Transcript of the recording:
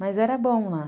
Mas era bom lá.